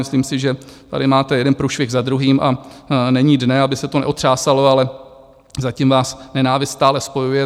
Myslím si, že tady máte jeden průšvih za druhým, a není dne, aby se to neotřásalo, ale zatím vás nenávist stále spojuje.